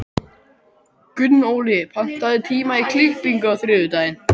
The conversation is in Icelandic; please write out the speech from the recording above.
Gunnóli, pantaðu tíma í klippingu á þriðjudaginn.